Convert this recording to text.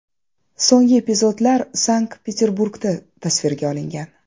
So‘nggi epizodlar Sankt-Peterburgda tasvirga olingan.